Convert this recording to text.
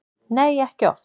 Nei, ekki oft.